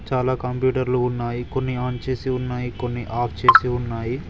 చాలా కంప్యూటర్లు ఉన్నాయి కొన్ని ఆన్ చేసి ఉన్నాయి కొన్ని ఆఫ్ చేసి ఉన్నాయి.